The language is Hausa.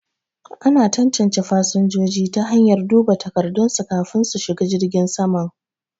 Ana tantance fasinjoji ta hanyar duba takardun su kafin su shiga jirgin saman